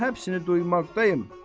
Mən hepsini duymaqdayım.